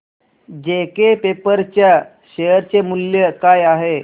JK paper च्या share चे मूल्य काय आहे